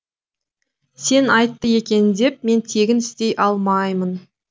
сен айтты екен деп мен тегін істей алмаймын